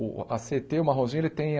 O a cê ê tê, o Marronzinho, ele tem a